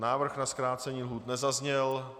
Návrh na zkrácení lhůt nezazněl.